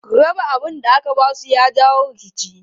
Raba abun da aka ba su ya jawo rikici.